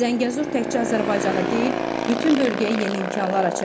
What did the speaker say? Zəngəzur təkcə Azərbaycanı deyil, bütün bölgəyə yeni imkanlar açacaq.